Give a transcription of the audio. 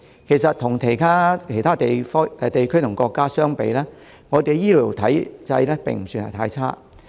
其實，與其他地區與國家相比，我們的醫療體制並不算太差。